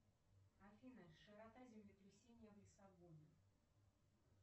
афина широта землетрясения в лиссабоне